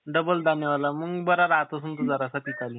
double दाणेवाला मंग बारा राहत असेल तुझा